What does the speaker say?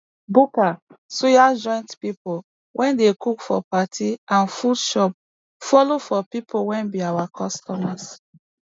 buka suya joint pipo wey dey cook for party and food shops follo for pipo wey be our customers